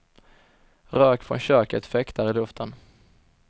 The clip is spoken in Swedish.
Rök från köket fäktar i luften.